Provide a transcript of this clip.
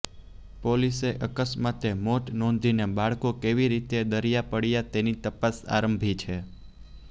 પોલીસે અકસ્માતે મોત નોંધીને બાળકો કેવી રીતે દરિયા પડ્યાં તેની તપાસ આરંભી છે